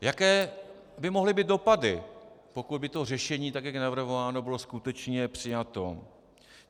Jaké by mohly být dopady, pokud by to řešení, tak jak je navrhováno, bylo skutečně přijato?